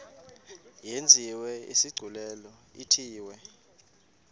yenziwe isigculelo ithiwe